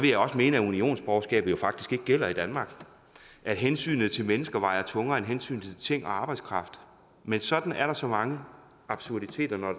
mene at unionsborgerskabet faktisk ikke gælder i danmark og at hensynet til mennesker vejer tungere end hensynet til ting og arbejdskraft men sådan er der så mange absurditeter når